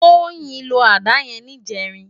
Toyin ló àdá yèn nijèrín